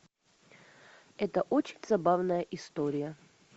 это очень забавная история